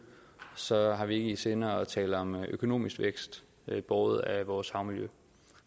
så har vi ikke i sinde at tale om økonomisk vækst båret af vores havmiljø